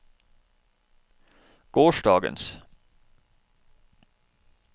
gårsdagens